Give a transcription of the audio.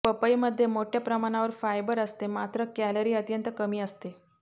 पपई मध्ये मोठ्या प्रमाणावर फायबर असते मात्र कॅलरी अत्यंत कमी असते